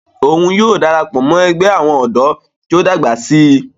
yóò darapọ̀ mọ́ ẹgbẹ́ àwọn ọ̀dọ́ tí ó bá dàgbà síi